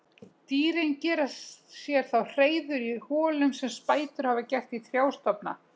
Dýrin gera sér þá hreiður í holum sem spætur hafa gert í trjástofna.